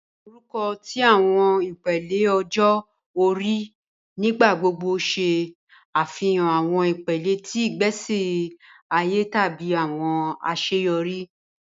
Awọn orukọ ti awọn ipele ọjọ ori nigbagbogbo ṣe afihan awọn ipele ti igbesi aye tabi awọn aṣeyọri.